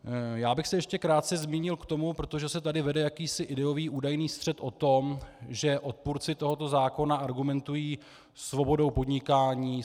Já bych se ještě krátce zmínil k tomu, protože se tady vede jakýsi ideový údajný střet o tom, že odpůrci tohoto zákona argumentují svobodou podnikání.